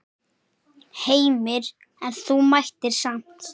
Heimir: En þú mættir samt?